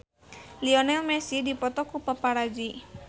Lionel Messi dipoto ku paparazi